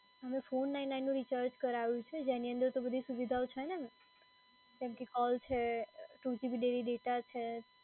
મેં four nine nine નું recharge કરાયું છે, જેની અંદર તો બધી સુવિધાઓ છે ને?